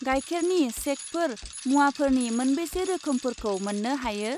गायखेरनि सेकफोर मुवाफोरनि मोनबेसे रोखोमफोरखौ मोन्नो हायो?